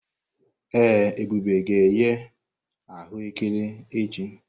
Ee, Ebube ga-eghe aghù ékẹrè echi.